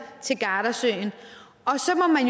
til gardasøen